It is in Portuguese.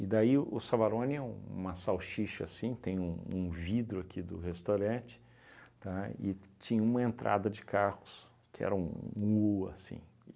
E daí o Savarone é uma salchicha assim, tem um um vidro aqui do restaurante, tá, e tinha uma entrada de carros que era um u, assim.